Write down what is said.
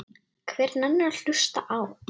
Hver nennir að hlusta á.